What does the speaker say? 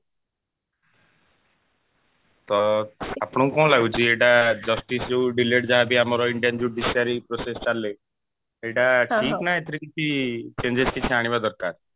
ତ ଆପଣଙ୍କୁ କଣ ଲାଗୁଛି ଏଇଟା justice ଯୋଉ delayed ଯାହା ବି ଆମର Indian judiciary process ଚାଲେ ସେଇଟା ଠିକ ନା ଏଇଥିରେ କିଛି changes କିଛି ଆଣିବା ଦରକାର